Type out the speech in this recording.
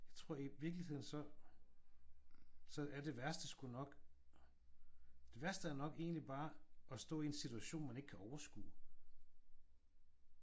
Jeg tror i virkeligheden så er det værste sgu nok det værste er nok egentlig bare at stå i en situation du ikke kan overskue